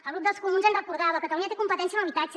el grup dels comuns ens recordava catalunya té competència en habitatge